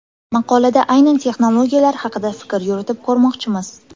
Maqolada aynan texnologiyalar haqida fikr yuritib ko‘rmoqchimiz.